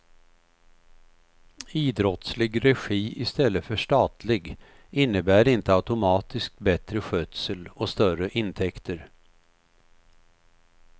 Idrottslig regi istället för statlig innebär inte automatiskt bättre skötsel och större intäkter.